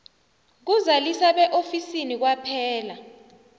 kuzalisa beofisini kwaphela